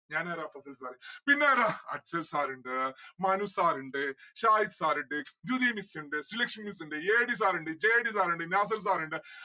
ഞാൻ ആരാ പ്രജിൻ sir പിന്നാരാ അക്ഷയ് sir ഇണ്ട് മനു sir ഇണ്ട് ഷാഹിദ് sir ഇണ്ട് ജൂതി miss ഇണ്ട് ശ്രീലക്ഷ്മി miss ഇണ്ട് ADsir ഇണ്ട് JDsir ഇണ്ട് നാസർ sir ഇണ്ട്